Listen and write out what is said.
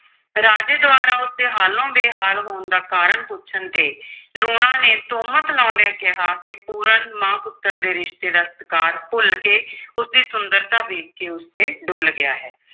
ਰਾਜੇ ਦੁਆਰਾ ਉਸ ਦੇ ਹਾਲੋਂ ਬੇਹਾਲ ਹੋਣ ਦਾ ਕਾਰਣ ਪੁੱਛਣ ਤੇ ਲੂਣਾ ਨੇ ਤੁਹਮਤ ਲਾਉਂਦਿਆਂ ਕਿਹਾ ਕਿ ਪੂਰਨ ਮਾਂ-ਪੁੱਤਰ ਦੇ ਰਿਸ਼ਤੇ ਦਾ ਸਤਿਕਾਰ ਭੁੱਲ ਕੇ ਉਸ ਦੀ ਸੁੰਦਰਤਾ ਵੇਖ ਕੇ ਉਸ ਤੇ ਡੁੱਲ੍ਹ ਗਿਆ ਹੈ।